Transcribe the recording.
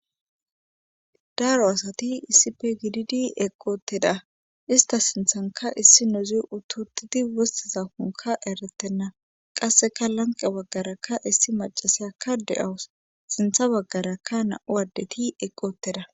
Daaro asati issife gididi eqqoteda ista sinthanka issi nozi ututidi wostiza konka eretenna qasseka lanqe waggarakka issi macasakka de7awus sintha baggarakka na7u adeti eqqotteda.